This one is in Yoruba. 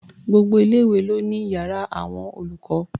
Gbogbo ilé-ìwé ló ní iyàrá àwọn olùkọ́.